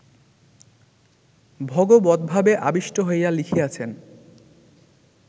ভগবদ্ভাবে আবিষ্ট হইয়া লিখিয়াছেন